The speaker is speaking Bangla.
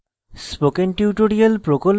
spoken tutorial প্রকল্প the